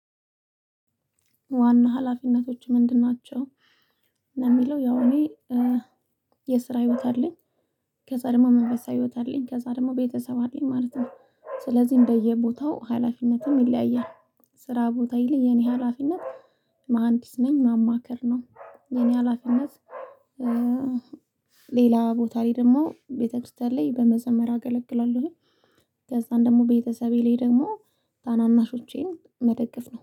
ዋና ሀላፊነቶች ምንድን ናቸው? የሚለው ያው እኔ የስራ ህይወት አለኝ ከዛ ደግሞ መንፈሳ ህይወት አለኝ ከዛ ደግሞ ቤተሰብ አለኝ ማለት ነው። ስለዚህ እንደየቦታው ሀላፊነትም ይለያያል ስራ ቦታ ይልህ የኔ ሀላፊነት ማሀንዲስ ነኝ ማማከር ነው የኔ ሀላፊነት። ሌላ ቦታ ላይ ደግሞ ቤተክርስቲያን ላይ በመዘመር አገለግላለሁ አገለግላለሁኝ። ከዛ ደግሞ ቤተሰቤ ላይ ደግሞ ታናናሾቼን መደገፍ ነው